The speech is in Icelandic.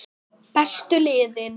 Bestu liðin?